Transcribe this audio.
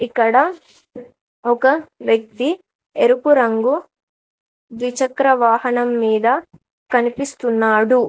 ఇక్కడ ఒక వ్యక్తి ఎరుపు రంగు ద్విచక్ర వాహనం మీద కనిపిస్తున్నాడు.